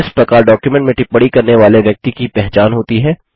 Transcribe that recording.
इस प्रकार डॉक्युमेंट में टिप्पणी करने वाले व्यक्ति की पहचान होती है